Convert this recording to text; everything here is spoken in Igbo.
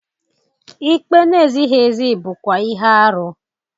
Ikpe na-ezighị ezi bụkwa ihe arụ.